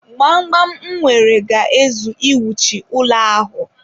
Gbamgbam m nwere ga-ezu iwuchi ụlọ ahụ.